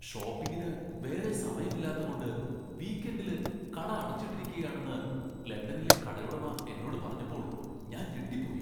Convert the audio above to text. ഷോപ്പിംഗിന് വേറെ സമയമില്ലാത്തകൊണ്ട് വീക്എൻഡിൽ കട അടച്ചിട്ടിരിക്കുകയാണെന്ന് ലണ്ടനിലെ കടയുടമ എന്നോട് പറഞ്ഞപ്പോൾ ഞാൻ ഞെട്ടിപ്പോയി.